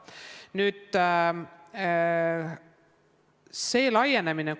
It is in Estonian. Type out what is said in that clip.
Nüüd võimaluste laienemisest.